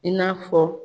I n'a fɔ